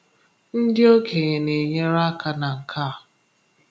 Ndị okenye na-enyere aka na nke a.